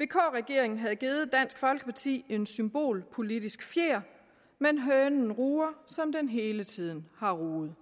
vk regeringen havde givet dansk folkeparti en symbolpolitisk fjer men hønen ruger som den hele tiden har ruget